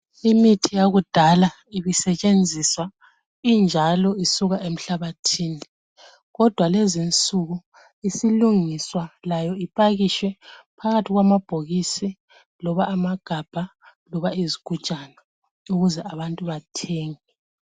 Imithi yakudala ibisetshenziswa injalo isuka emhlabathini, kodwa lezinsuku isilungiswa layo ipakishwe phakathi kwamabhokisi loba amagabha loba izigujana ukuze abantu bathenge.